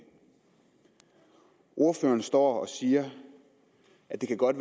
ordføreren står og siger at det godt